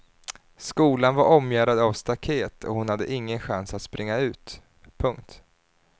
Skolan var omgärdad av staket och hon hade ingen chans att springa ut. punkt